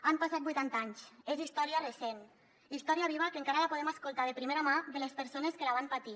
han passat vuitanta anys és història recent història viva que encara la podem escoltar de primera mà de les persones que la van patir